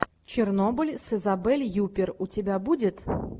чернобыль с изабель юппер у тебя будет